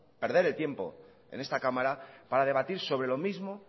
perder el tiempo en esta cámara para debatir sobre lo mismo